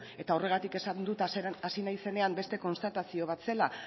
eta horregatik esan dut hasieran hasi naizenean beste konstatazio bat zela